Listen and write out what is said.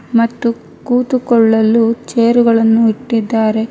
ಮತ್ತು ಕೂತ್ತುಕೊಳ್ಳಲು ಚೇರ್ ಗಳನ್ನು ಇಟ್ಟಿದ್ದಾರೆ.